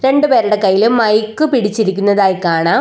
രണ്ടു പേരുടെ കയ്യിലും മൈക്ക് പിരിച്ചിരിക്കുന്നതായി കാണാം.